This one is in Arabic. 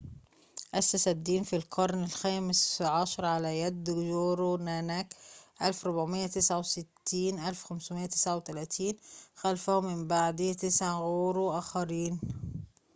أُسس الدين في القرن الخامس عشر على يد جورو ناناك 1469-1539. خلفه من بعده تسعة غورو آخرين